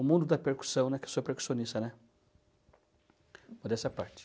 O mundo da percussão, né, que eu sou percussionista, né, essa parte.